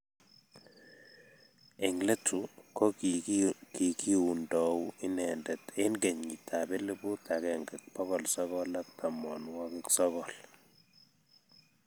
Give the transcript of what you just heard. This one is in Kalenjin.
eng' letu ko kikiundou inendet eng' kenyitab elput agenge bokol sokol ak tamanwokik sokol